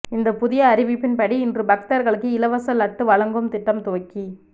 இந்த புதிய அறிவிப்பின்படி இன்று பக்தர்களுக்கு இலவச லட்டு வழங்கும் திட்டம் துவக்கி